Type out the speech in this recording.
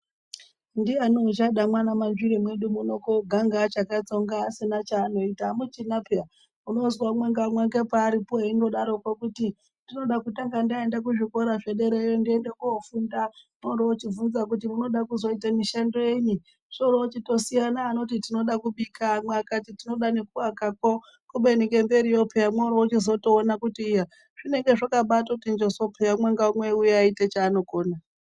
Ndiani uchade mwaana Manzvire medu muno koganga achakatsonga asina chaanoita amuchinapeya unozwa umwe ngaumwe ngepaaripo eindodaroko kuti ndinoda kutanga ndaenda kuzvikora zvederayo ndoenda kofunda mworochibvunza kuti munoda kuzoite mishando yenyi zvorochitosiyana anoti tinoda kubika amwe akati tinoda ngekuwakakwo kubeni ngemberiyo peya mworochizotoona kuti iya zvinenge zvakabati njoso peya umwe ngaumwe ayiuya achiite chaanokona.